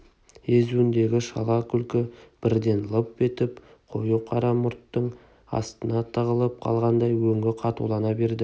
езуіңдегі шала күлкі бірден лып етіп қою қара мұрттың астына тығылып қалғандай өңі қатулана берді